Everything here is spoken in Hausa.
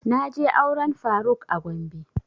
Na je auren faruk a gombe